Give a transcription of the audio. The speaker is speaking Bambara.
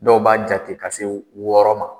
Dɔw b'a jate ka se wɔɔrɔ ma